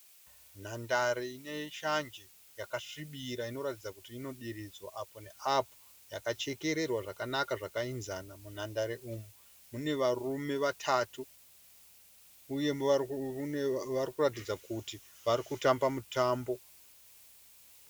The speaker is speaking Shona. Nhandare ineshanje yakasvibira inotaridza kuti inodiridzwa apo neapo, yakachekererwa zvakanaka zvakaenzana. Munhandare umu mune varume vatatu uye vari kutaridza kuti vari kutamba mutambo.